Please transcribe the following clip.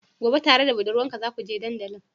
Gobe tare da budurwarka zakuje dandalin?